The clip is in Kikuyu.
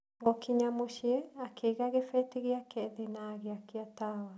Gũkinya mũciĩ, akĩiga kĩbeti gĩake thĩ na agĩakia tawa.